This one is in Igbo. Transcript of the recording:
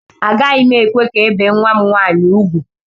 Agaghị m ekwe ka ebee nwa m nwaanyị ugwu.